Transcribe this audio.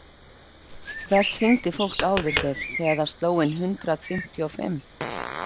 Hvert hringdi fólk áður fyrr þegar það sló inn hundrað fimmtíu og fimm?